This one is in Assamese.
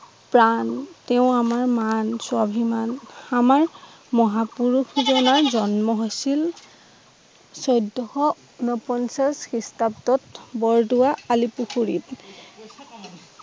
প্ৰাণ, তেওঁ আমাৰ মান, স্বাভিমান আমাৰ মহাপুৰুষ জনাই জন্ম হৈছিল চৈদ্দখ ঊনপঞ্চাশ খৃস্টাব্দত বৰদোৱা অলিপুখুৰীত